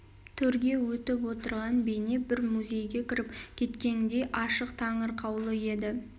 төрге өтіп отырған бейне бір музейге кіріп кеткеңдей ашық таңырқаулы еді